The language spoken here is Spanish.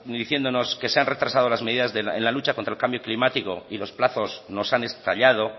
diciéndonos que se han retrasado las medidas en la lucha contra el cambio climático y los plazos nos han estallado